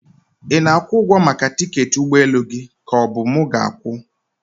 Ị na-akwụ ụgwọ maka tiketi ụgbọ elu gị ka ọ bụ mu ga-akwụ?